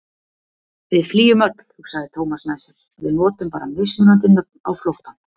Við flýjum öll, hugsaði Thomas með sér, við notum bara mismunandi nöfn á flóttann.